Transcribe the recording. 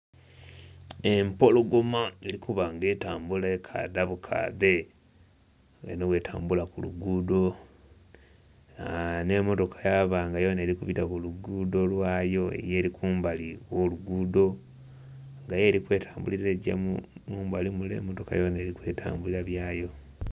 Empologoma eri kubanga etambula ekadha bukadhe nga eno bwe tambula ku luguudo aa n'emmotoka yaba nga yoona eri kubita kuluguudo lwayo yo eri kumbali okw'oluguudo nga yo eri kwetambulira egya mumbali mule emmotoka yoona eri kwetambulira byayo.